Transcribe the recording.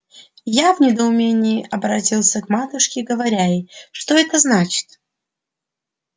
я в недоумении оборотился к матушке говоря ей что это значит